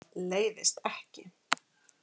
Leiðist ekki.